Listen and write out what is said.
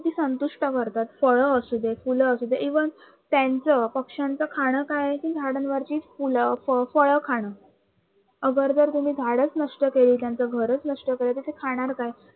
संतुष्ट करतात फळं असू दे फुलं असू दे even त्याचं पक्षांच खान काय आहे कि झाडांवरची फुलं, फळं खान. अगर जर तुम्ही झाडच नष्ट केली त्यांची घरच नष्ट केलीत तर ते खाणार काय?